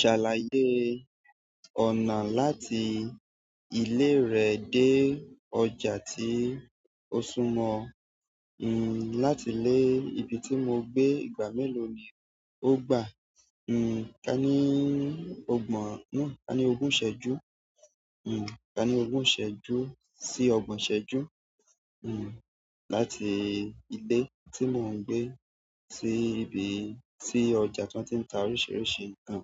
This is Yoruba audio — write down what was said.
Ṣàlàyé ọ̀nà láti ilé rẹ dé ọjà tí o súmọ́ ọ. Láti ilé ibi tí mo ń gbé, ìgbà méèló ni o gbà. Nn, ká ní ọgbọ̀n, ká ní ogún ìṣẹ́ju. Nn, ká ní ogún ìṣẹ́ju sí ọgbọ̀n ìṣẹ́ju. Láti ilé tí mo ń gbé sí ibi tí ọjà tí wọn tín ta oríṣiríṣi ńkan